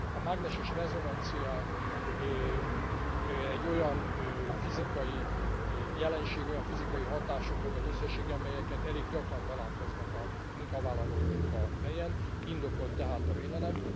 A mágneses rezonancia egy olyan fizikai jelenség, olyan fizikai hatásoknak az összessége, amelyekkel elég gyakran találkoznak a munkavállalók munkahelyen, indokolt tehát a védelem.